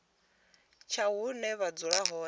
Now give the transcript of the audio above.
tsha hune vha dzula hone